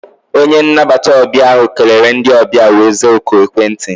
Onye nnabata ọbịa ahụ kelere ndị ọbịa wee zaa oku ekwentị.